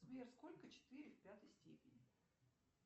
сбер сколько четыре в пятой степени